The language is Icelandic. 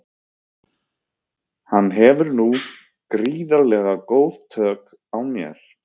Hann hefur nú gríðarlega góð tök á mér.